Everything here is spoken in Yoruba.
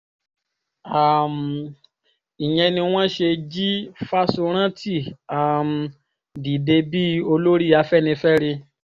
um ìyẹn ni wọ́n ṣe jí fáṣórántì um dìde bíi olórí afẹ́nifẹ́re